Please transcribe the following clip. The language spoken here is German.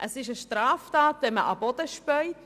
» Es ist eine Straftat, wenn man auf den Boden spuckt.